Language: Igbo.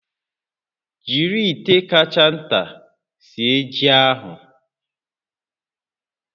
Jiri ite kacha nta sie ji ahụ